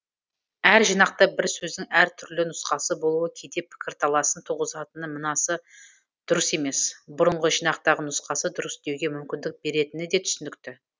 әр жинақта бір сөздің әр түрлі нұсқасы болуы кейде пікірталасын туғызатыны мынасы дұрыс емес бұрынғы жинақтағы нұсқасы дұрыс деуге мүмкіндік беретіні де түсінікті